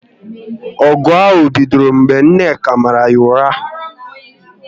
Ọgụ ahụ bidoro mgbe Nneka mara ya ụra